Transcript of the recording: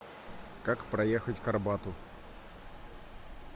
как проехать к арбату